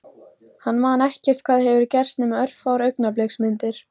Hann man ekkert hvað hefur gerst nema örfáar augnabliksmyndir.